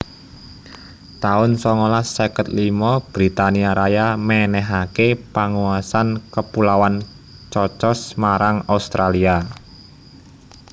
taun songolas seket limo Britania Raya mènèhaké panguasan Kepulauan Cocos marang Australia